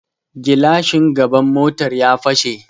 gilashin gaban motar ya fashe